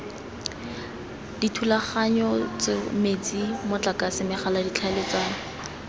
dithulaganyetso metsi motlakase megala tlhaeletsano